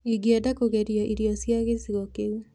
Ingĩenda kũgeria irio cia gĩcigo kĩu.